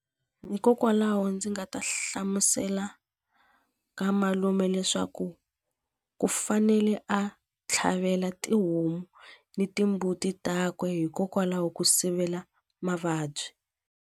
Hikokwalaho ndzi nga ta hlamusela ka malume leswaku ku fanele a tlhavela tihomu ni timbuti takwe hikokwalaho ku sivela mavabyi.